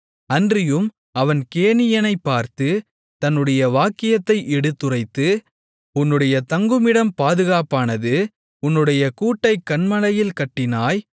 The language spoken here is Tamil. அன்றியும் அவன் கேனியனைப் பார்த்து தன்னுடைய வாக்கியத்தை எடுத்துரைத்து உன்னுடைய தங்குமிடம் பாதுகாப்பானது உன்னுடைய கூட்டைக் கன்மலையில் கட்டினாய்